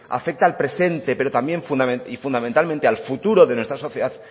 afecta al presente y fundamentalmente al futuro de nuestra sociedad